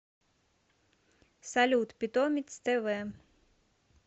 салют питомец тэ вэ